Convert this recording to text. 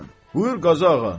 Buyur, Qazağa.